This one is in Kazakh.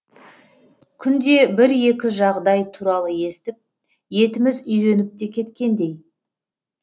күнде бір екі жағыдай туралы естіп етіміз үйреніп те кеткендей